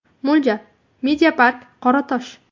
Mo‘ljal: Media Park Qoratosh.